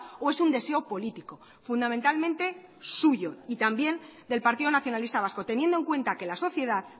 o es un deseo político fundamentalmente suyo y también del partido nacionalista vasco teniendo en cuenta que la sociedad